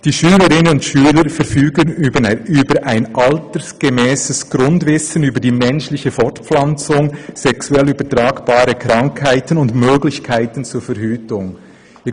Die Schülerinnen und Schüler verfügen über ein altersgemässes Grundwissen über die menschliche Fortpflanzung, sexuell übertragbare Krankheiten und Möglichketen zur Verhütung [